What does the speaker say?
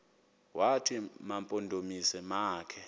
wathi mampondomise makhe